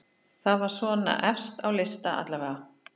Það var svona efst á lista allavega.